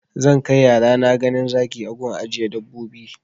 Zan kai yarana ganin zaki a gun ajiye dabbobi